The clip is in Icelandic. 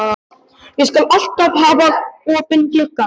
Ég skal alltaf hafa opinn gluggann.